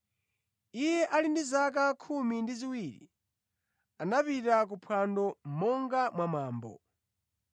Iye ali ndi zaka khumi ndi ziwiri, anapita ku phwando, monga mwa mwambo.